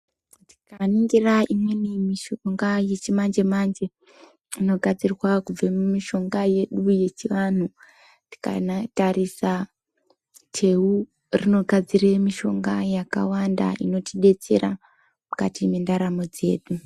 Tikaningira imweni mishonga yechimanje-manje, inogadzirwa kubva mumishonga yedu yechivanhu tikatarisa teu rinogadzire mishonga yakawanda inotibetsera mukati mwendaramo dzedu.